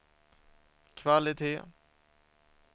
kvalitet